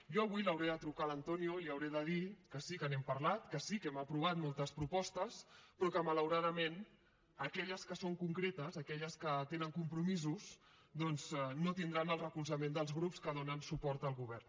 jo avui li hauré de trucar a l’antonio i li hauré de dir que sí que n’hem parlat que sí que hem aprovat moltes propostes però que malauradament aquelles que són concretes aquelles que tenen compromisos doncs no tindran el recolzament dels grups que donen suport al govern